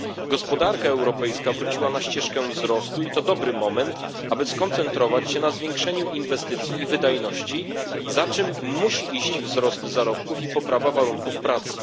Gospodarka europejska wróciła na ścieżkę wzrostu i to dobry moment, aby skoncentrować się na zwiększeniu inwestycji i wydajności, za czym musi iść wzrost zarobków i poprawa warunków pracy.